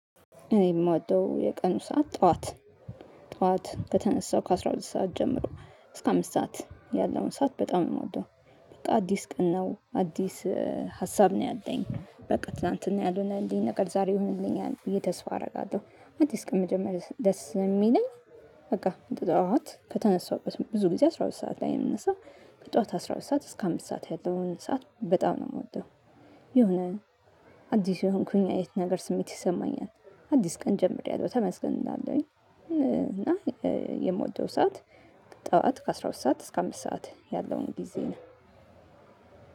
እኔ የምወደው የቀኑ ሰዓት ጠዋት ጠዋት ከተነሳው ከአሥራ ሁለት ሰዓት ጀምሮ እስከ አምስት ሰዓት ያለውን ሰዓት በጣም ነው የምወደው። በቃ አዲስ ቀን ነው አዲስ ሀሳብ ነው ያለኝ። በቃ ትላንትና ያልሆነ እንዲህ ነገር ዛሬ ይሁንልኛል ብዬ ተስፋ አደርጋለሁ። አትስቅም መጀመሪያ ደስ የሚለኝ። በቃ ጠዋት ከተነሳሁበት ብዙ ጊዜ አስራ ሁለት ሰዓት ላይ የምንሰራው ከጠዋት አስራ ሁለት ሰዓት እስከ አምስት ሰዓት ያለውን ሰዓት በጣም ነው የምወደው። የሆነ አዲስ የሆንኩኝ አይነት ነገር ስሜት ይሰማኛል። አዲስ ቀን ጀምሬያለሁ ተመስገን እንዳለኝ። እና የምወደው ሰዓት ጠዋት ከአሥራ ሁለት ሰዓት እስከ አምስት ሰዓት ያለውን ጊዜ ነው።